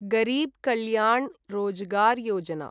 गरीब् कल्याण् रोजगार् योजना